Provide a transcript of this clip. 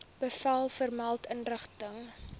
bevel vermelde inrigting